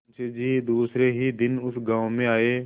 मुँशी जी दूसरे ही दिन उस गॉँव में आये